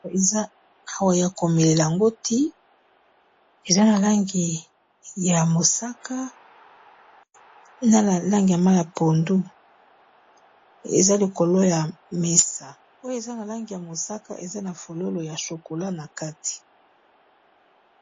Awa ya ko melela ngo the eza na langi ya mosaka, na ya langi ya mayi ya pondu. Eza likolo ya mesa, oyo eza na langi ya mosaka eza na fololo ya chokolat na kati.